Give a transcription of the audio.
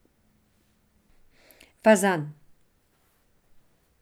Fazan.